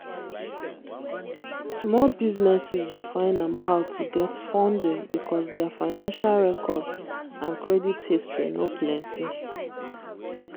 small businesses dey find am hard to get funding because their financial records and credit history no plenty.